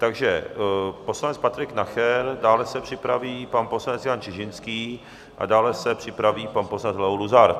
Takže poslanec Patrik Nacher, dále se připraví pan poslanec Jan Čižinský a dále se připraví pan poslanec Leo Luzar.